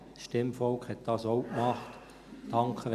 Das Stimmvolk hat das auch getan.